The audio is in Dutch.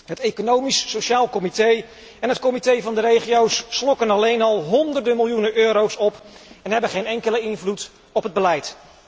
Het Economisch en Sociaal Comité en het Comité van de Regio's slokken alleen al honderden miljoenen euro's op en hebben geen enkele invloed op het beleid.